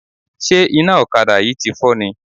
Ṣé iná ọ̀kadà yìí tí fọ́ ni?